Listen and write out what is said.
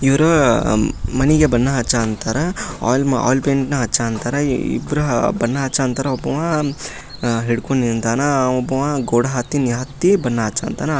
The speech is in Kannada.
ಇವರು ಮನೆಗ ಬಣ್ಣ ಹಚ್ಚು ಅಂತಾರ ಆಲ್ ಪೈಂಟ್ ಹಚ್ಚು ಅಂತಾರ ಇಬ್ಬರ ಬಣ್ಣ ಹಚ್ಚಾ ಅಂತರ ಒಬ್ಬವ ಹಿಡ್ಕೊಂಡ್ ನಿಂತನ ಒಬ್ಬವ ಗೋಡೆ ಹತ್ತಿನ ಹತ್ತಿ ಬಣ್ಣ ಹಚ್ಚು ಅಂತಾನಾ ಆ ಕಡೆ ಶೋಕೇಸ್ ಐತೆ ಇದೊಂದು ಇದು ಐತೆ ಏನೇಂದ್ರ ಚೌಕ್ಟ್ಗ ಚಾಕೆಲೆಟ್ ಬಣ್ಣ ಕೊಡ.